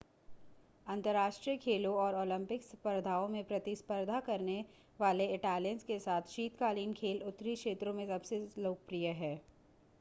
अंतर्राष्ट्रीय खेलों और ओलंपिक स्पर्धाओं में प्रतिस्पर्धा करने वाले इटालियंस के साथ शीतकालीन खेल उत्तरी क्षेत्रों में सबसे लोकप्रिय हैं